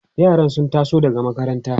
yaran sun taso daga makaranta